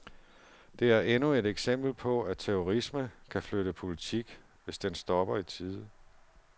Det er endnu et eksempel på at terrorisme kan flytte politik hvis den stopper i tide.